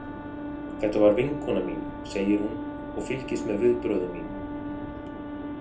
Þetta var vinkona mín, segir hún og fylgist með viðbrögðum mínum.